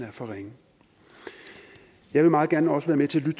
er for ringe jeg vil meget gerne også være med til